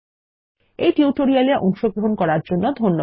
এই টিউটোরিয়াল এ অংশগ্রহন করার জন্য ধন্যবাদ